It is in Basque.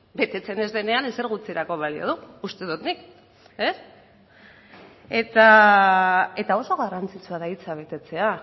betetzen ez denean ezer gutxirako balio du uste dut nik eta oso garrantzitsua da hitza betetzea